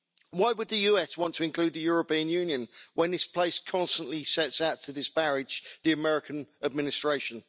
Why would the US want to include the European Union when this place constantly sets out to disparage the American administration?